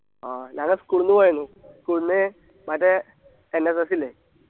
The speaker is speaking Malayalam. ആ ഞാന് school ന്ന് പോയർന്നു school ന്ന് മറ്റേ NSS ഇല്ലേ